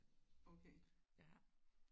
Okay